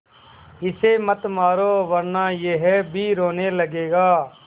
इसे मत मारो वरना यह भी रोने लगेगा